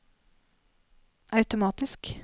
automatisk